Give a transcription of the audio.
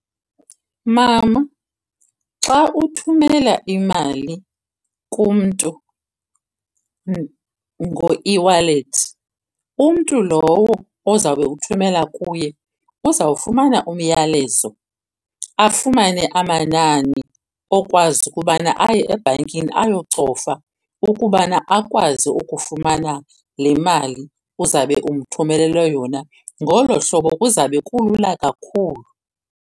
Mama, xa uthumela imali kumntu ngo-eWallet, umntu lowo ozawube uthumela kuye uzawufumana umyalezo, afumane amanani okwazi ukubana aye ebhankini ayocofa ukubana akwazi ukufumana le mali uzawube umthumelele yona. Ngolo hlobo kuzawube kulula kakhulu.